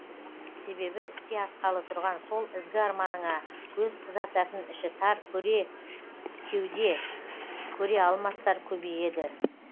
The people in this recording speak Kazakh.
себебі іске асқалы тұрған сол ізгі арманыңа көз қызартатын іші тар көре кеуде көре алмастар көбейеді